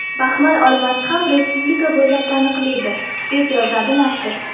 Baxmal olmasi ham respublika bo‘ylab taniqlidir”, deb yozadi nashr.